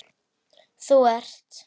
Þú ert